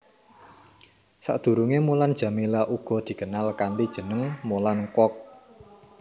Sadurungé Mulan Jameela uga dikenal kanthi jeneng Mulan Kwok